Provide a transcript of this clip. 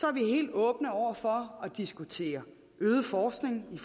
er vi helt åbne over for at diskutere øget forskning i